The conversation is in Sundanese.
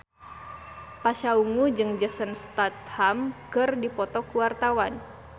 Pasha Ungu jeung Jason Statham keur dipoto ku wartawan